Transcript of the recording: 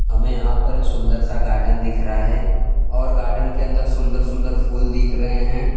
हमें यहां पर एक सुंदर सा गार्डन दिख रहा है और गार्डन के अंदर सुंदर सुंदर फूल दिख रहे हैं।